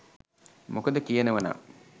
මොකද කියනව නං